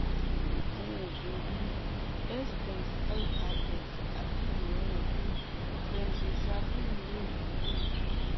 àwọn oògùn bíi ssris àti àwọn oògùn benzodiazepine lè wúlò